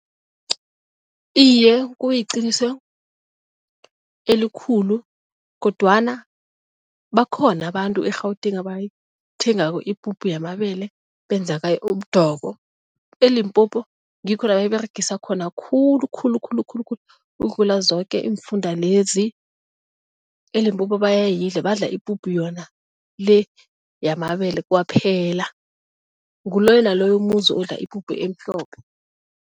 Iye, kuyiqiniso elikhulu kodwana bakhona abantu e-Gauteng abayithengako ipuphu yamabele benza ngayo umdoko. ELimpopo ngikho la bayiberegisa khona khulu khulu khulu khulu khulu ukudlula zoke iimfunda lezi. ELimpopo bayayidla badla ipuphu yona le yamabele kwaphela nguloyo naloyo umuzi odla ipuphu emhlophe.